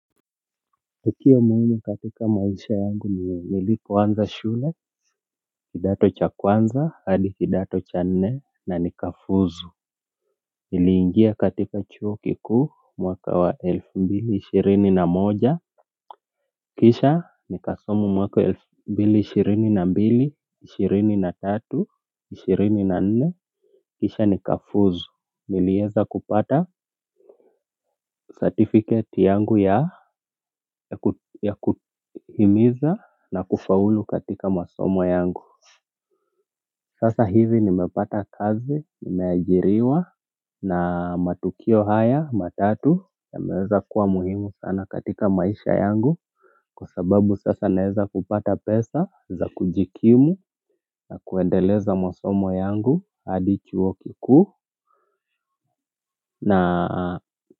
Hutia moyoni katika maisha yangu nilipoanza shule kidato cha kwanza hadi kidato cha nne na nikafuzu niliingia katika chuo kikuu mwaka wa elfu mbili ishirini na moja. Kisha nikasoma mwaka elfu mbili ishirini na mbili ishirini na tatu ishirini na nne kisha nikafuzu nilieza kupata certificate yangu ya ya kuhimiza na kufaulu katika masomo yangu sasa hivi nimepata kazi nimeajiriwa na matukio haya matatu yameweza kuwa muhimu sana katika maisha yangu kwa sababu sasa naeza kupata pesa za kujikimu na kuendeleza masomo yangu hadi chuo kikuu na.